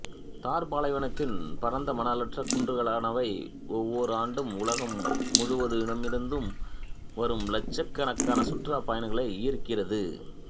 தார் பாலைவனத்தின் பரந்த மணற் குன்றுகளானவை ஒவ்வோர் ஆண்டும் உலகம் முழுதுமிருந்தும் வரும் இலட்சக் கணக்கான சுற்றுலா பயணிகளை ஈர்க்கிறது